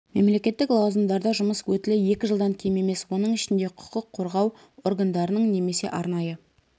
мемлекеттік лауазымдарда жұмыс өтілі екі жылдан кем емес оның ішінде құқық қорғау органдарының немесе арнайы